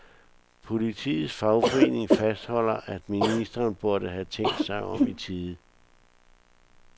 Politiets fagforening fastholder, at ministeren burde have tænkt sig om i tide.